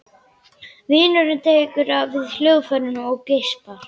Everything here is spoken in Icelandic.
Vinurinn tekur við hljóðfærinu og geispar.